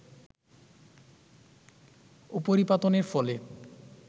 উপরিপাতনের ফলে